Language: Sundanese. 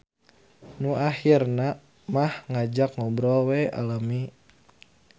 Nu ahirna mah ngajak ngobrol we lami.